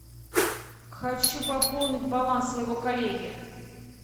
хочу пополнить баланс своего коллеги